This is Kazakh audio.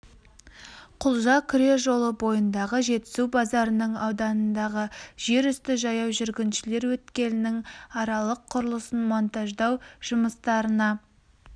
құлжа күре жолы бойындағы жетісу базарының ауданындағы жер үсті жаяу жүргіншілер өткелінің аралық құрылысын монтаждау жұмыстарына